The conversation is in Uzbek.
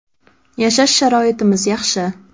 Yashash sharoitimiz yaxshi.